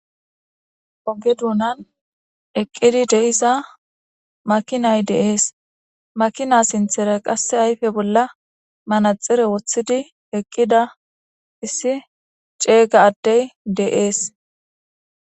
oge duunan eqqidi deiza makinay deees makina sinthera qasse ayfe bolla manaxire woththidi eqqida issi ceega addey deees